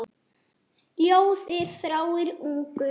Ljóða þráir ungur.